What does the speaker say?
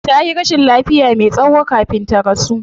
Tayi rashin lafiya me tsayo kafin ta rasu